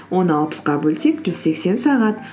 оны алпысқа бөлсек жүз сексен сағат